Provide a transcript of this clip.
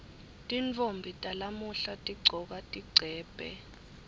tintfombi talamuhla tigcoka tigcebhe